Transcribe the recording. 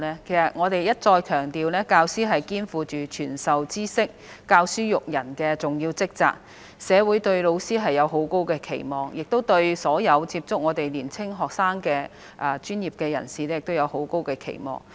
其實，我們已一再強調，教師肩負傳授知識、教書育人的重要職責，社會對老師有很高的期望，亦對所有接觸年輕學生的專業人士有很高期望。